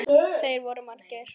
Þeir voru margir.